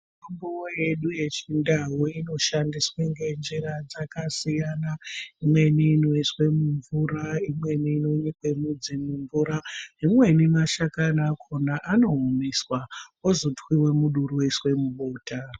Mitombo yedu yechindau inoshandiswe ngenjira dzakasiyana. Imweni inoiswe mumvura, imweni inonyikwe mudzi mumvura, imweni mashakani akhona anoomeswa ozotwiwe muduri oiswe mubota.